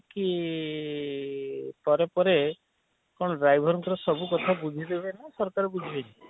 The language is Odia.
ଇ ଇ ପରେ ପରେ କଣ driverଙ୍କର ସବୁ କଥା ବୁଝି ଦେବେ ନା ସରକାର ବୁଝିବେ ନି?